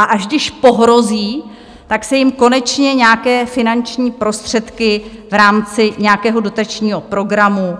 A až když pohrozí, tak se jim konečně nějaké finanční prostředky v rámci nějakého dotačního programu